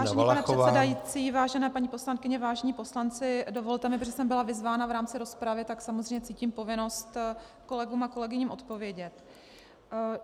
Vážený pane předsedající, vážené paní poslankyně, vážení poslanci, dovolte mi, protože jsem byla vyzvána v rámci rozpravy, tak samozřejmě cítím povinnost kolegům a kolegyním odpovědět.